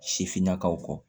Sifinnakaw kɔ